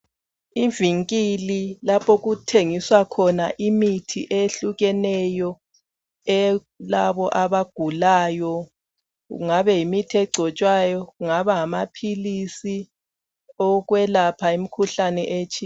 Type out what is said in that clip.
Ivinkili lapho okuthengiswa khona imithi eyehlukeneyo eyalabo abagulayo. Kungabe yimithi egcotshwayo kungaba ngamaphilisi owokwelapha imikhuhlane etshiyeneyo.